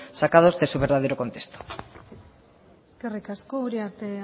sacados de su verdadero contexto eskerrik asko uriarte